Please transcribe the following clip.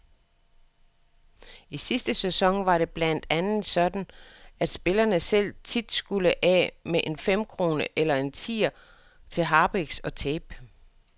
I sidste sæson var det blandt andet sådan, at spillerne selv tit skulle af med en femkrone eller en tier til harpiks og tape.